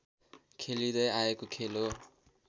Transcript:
खेलिँदै आएको खेल हो